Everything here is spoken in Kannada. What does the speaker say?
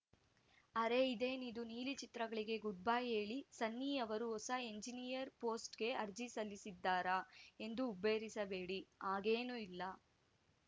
ಅರೇ ಇದೇನಿದು ನೀಲಿ ಚಿತ್ರಗಳಿಗೆ ಗುಡ್‌ಬೈ ಹೇಳಿ ಸನ್ನಿ ಅವರು ಹೊಸ ಎಂಜಿನಿಯರ್‌ ಪೋಸ್ಟ್‌ಗೆ ಅರ್ಜಿ ಸಲ್ಲಿಸಿದ್ದರಾ ಎಂದು ಹುಬ್ಬೇರಿಸಬೇಡಿ ಹಾಗೇನೂ ಇಲ್ಲ